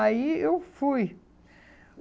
Aí eu fui.